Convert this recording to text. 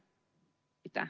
Aitäh!